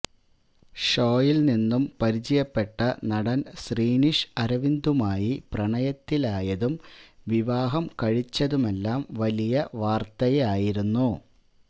show യില് നിന്നും പരിചയപ്പെട്ട നടന് ശ്രീനിഷ് അരവിന്ദുമായി പ്രണയത്തിലായതും വിവാഹം കഴിച്ചതുമെല്ലാം വലിയ വാര്ത്തയായിരുന്നു